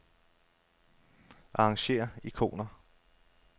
Arrangér ikoner.